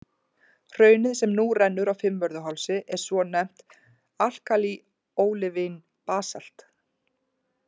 Hraunið, sem nú rennur á Fimmvörðuhálsi, er svonefnt alkalí-ólivín-basalt.